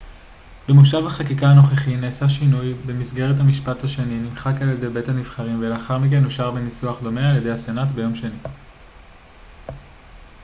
במושב החקיקה הנוכחי נעשה שינוי במסגרתו המשפט השני נמחק על ידי בית הנבחרים ולאחר מכן אושר בניסוח דומה על ידי הסנאט ביום שני